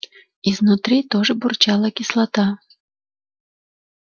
изнутри тоже бурчала кислота